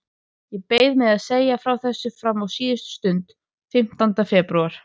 Ég beið með að segja frá þessu fram á síðustu stund, fimmtánda febrúar.